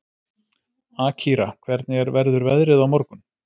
Akira, hvernig verður veðrið á morgun?